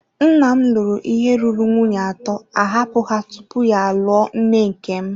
Nna m lụrụ ihe ruru nwunye atọ, ahapụ ha tupu ya alụọ nne nke m.